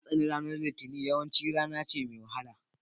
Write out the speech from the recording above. Na tsani ranar litinin, yawanci rana ce mai wahala